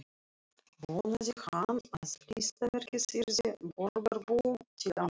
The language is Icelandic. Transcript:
Vonaði hann að listaverkið yrði borgarbúum til ánægju.